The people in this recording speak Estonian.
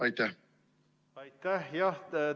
Aitäh!